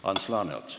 Ants Laaneots.